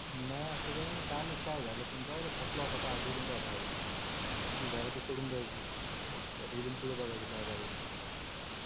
नाय अस काय नाय. काय माहित काय झाल पण जाऊद्या फसलो आता काय बोलून काय फायदा जे झाल ते सोडून दयाच. आता इथून पुढ बागायच काय कराय च ते